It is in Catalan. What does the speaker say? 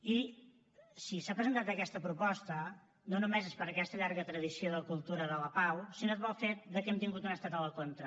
i si s’ha presentat aquesta proposta no només és per aquesta llarga tradició de cultura de la pau sinó pel fet que hem tingut un estat a la contra